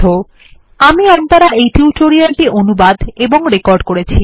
httpspoken tutorialorgNMEICT Intro আমি অন্তরা এই tutorial টি অনুবাদ এবং রেকর্ড করেছি